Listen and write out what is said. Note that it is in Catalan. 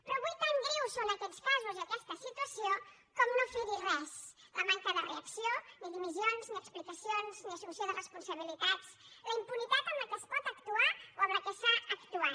però avui tan greus són aquests casos i aquesta situació com no fer hi res la manca de reacció ni dimissions ni explicacions ni assumpció de responsabilitats la impunitat amb què es pot actuar o amb què s’ha actuat